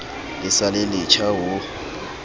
le sa le letjha ho